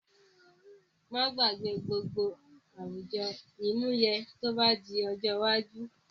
Má gbàgbé gbogbo àwùjọ àmúyẹ tó bá di ojó iwájú